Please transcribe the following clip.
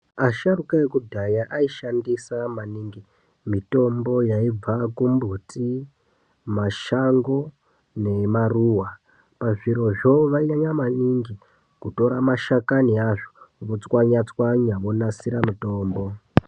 Asharuka ekudhaya aishandisa maningi mitombo yaibva kumbuti, mashango nemaruwa, pazvirozvo vainyanya maningi kutora mashakani azvo, otswanya tswanya onasira mutombo.